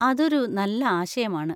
അതൊരു നല്ല ആശയമാണ്.